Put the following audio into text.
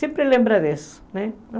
Sempre lembra disso, né?